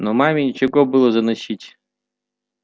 но маме нечего было заносить